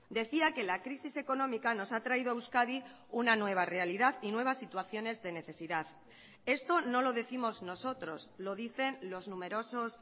decía que la crisis económica nos ha traído a euskadi una nueva realidad y nuevas situaciones de necesidad esto no lo décimos nosotros lo dicen los numerosos